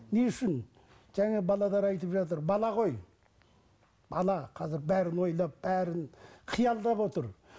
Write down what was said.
не үшін жаңа айтып жатыр бала ғой бала қазір бәрін ойлап бәрін қиялдап отыр